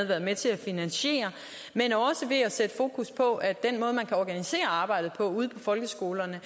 været med til at finansiere men også ved at sætte fokus på at den måde man organiserer arbejdet på folkeskolerne